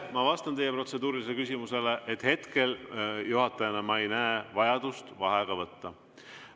Ma vastan teie protseduurilisele küsimusele, et hetkel juhatajana ei näe ma vajadust vaheaega võtta.